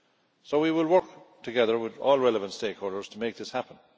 So we will work together with all relevant stakeholders to make this happen.